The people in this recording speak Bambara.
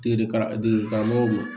Degeka degeli karamɔgɔw bolo